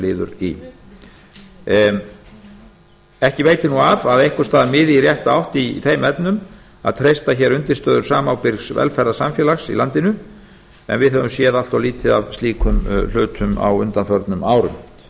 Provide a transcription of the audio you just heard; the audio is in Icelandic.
liður í ekki veitir nú af að einhvers staðar miði í rétta átt í þeim efnum að treysta hér undirstöður samábyrgs velferðarsamfélags í landinu en við höfum séð allt of lítið af slíkum hlutum á undanförnum árum